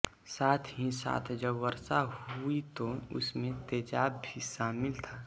साथहीसाथ जब वर्षा हुई तो उसमें तेज़ाब भी शामिल था